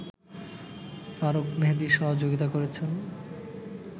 ফারুক মেহেদী সহযোগিতা করেছেন